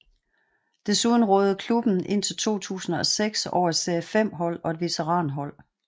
Desuden rådede klubben indtil 2006 over et serie 5 hold og et veteranhold